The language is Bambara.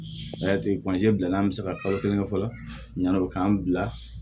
O y'a to bilala an bɛ se ka kalo kelen kɛ fɔlɔ yanni o k'an bila